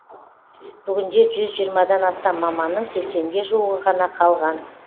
бүгінде жүз жиырмадан астам маманның сексенге жуығы ғана қалған